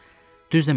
Düz demədin.